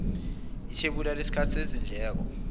ithebula lesikali sezindleko